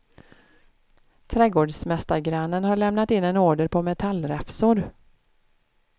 Trädgårdsmästargrannen har lämnat in en order på metallräfsor.